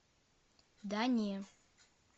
да не